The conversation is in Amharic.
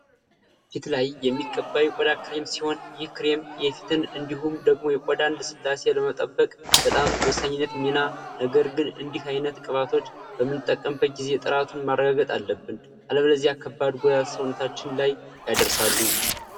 ፊት ላይ የሚቀባ የቆዳ ክሬም ሲሆን ይህ ክሬም የፊትን እንዲሁም ደግሞ የቆዳን ልስላሴ ለመጠበቅ በጣም ወሳኝነት ሚና ። ነገር ግን እንዲህ አይነት ቅባቶች በምንጠቀምበት ጊዜ ጥራቱን ማረጋገጥ አለብን አለበለዚያ ከባድ ጉዳት ሰውነታችን ላይ ያደርሳሉ